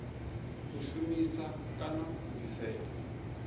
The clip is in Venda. u shumisa kana u bvisela